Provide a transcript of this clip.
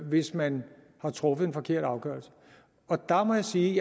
hvis man har truffet en forkert afgørelse og der må jeg sige